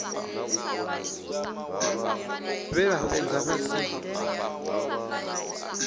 vhe vha fhedza vha si